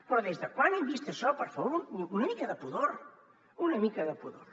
però des de quan hem vist això per favor una mica de pudor una mica de pudor